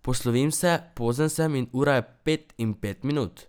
Poslovim se, pozen sem in ura je pet in pet minut.